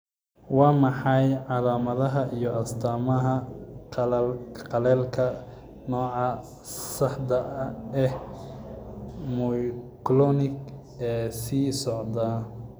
Waa maxay calaamadaha iyo astaamaha qallalka nooca sedaxad ee myoclonic ee sii socda?